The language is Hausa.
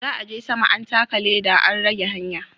Za'a je sama an taka leɗa an rage hanya.